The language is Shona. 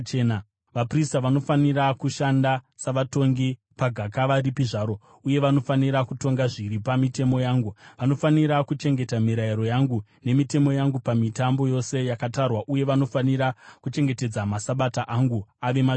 “ ‘Vaprista vanofanira kushanda savatongi, pagakava ripi zvaro, uye vanofanira kutonga zviri pamitemo yangu. Vanofanira kuchengeta mirayiro yangu nemitemo yangu pamitambo yose yakatarwa uye vanofanira kuchengetedza maSabata angu ave matsvene.